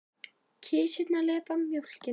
Kisurnar lepja mjólkina.